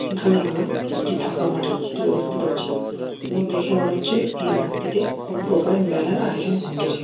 এখানে আমরা একটি ফাঁকা মাঠের চিত্র দেখতে পারছি। এবং দেখে মনে হচ্ছে এই মাঠটিতে কোন প্রকারের মেলার আয়োজন ঘটেছে।